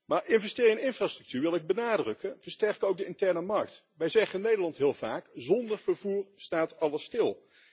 Maar investeringen in infrastructuur wil ik benadrukken versterken ook de interne markt. Wij zeggen in Nederland heel vaak zonder vervoer staat alles stil.